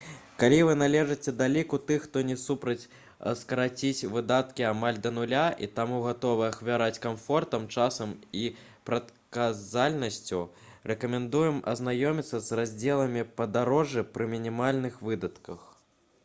калі вы належыце да ліку тых хто не супраць скараціць выдаткі амаль да нуля і таму гатовы ахвяраваць камфортам часам і прадказальнасцю рэкамендуем азнаёміцца з раздзелам «падарожжы пры мінімальных выдатках»